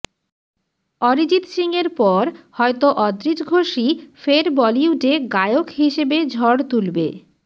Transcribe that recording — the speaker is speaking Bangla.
অরিজিৎ সিংয়ের পর হয়তো অদ্রিজ ঘোষই ফের বলিউডে গায়ক হিসেবে ঝড় তুলবে